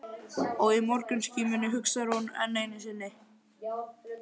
Og í morgunskímunni hugsar hún enn einu sinni